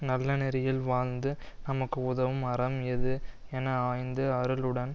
நல்லநெறியில் வாழ்ந்து நமக்கு உதவும் அறம் எது என ஆய்ந்து அருளுடன்